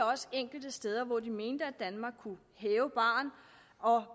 også enkelte steder hvor de mente at danmark kunne hæve barren og